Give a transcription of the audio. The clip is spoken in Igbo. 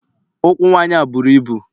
Ụkwụ nwaanyị a bụrụ ibu.